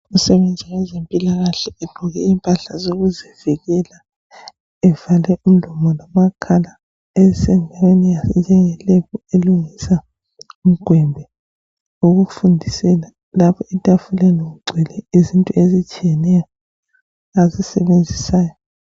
Umuntu osebenza kwezempilakahle egqoke impahla zokuzivikela evale umlomo lamakhala esendaweni enjengelab elungisa umgwembe wokufundisela lapho etafuleni kugcwele izinto ezitshiyeneyo azisebenzisayo